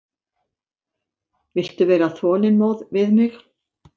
Viltu vera þolinmóð við mig.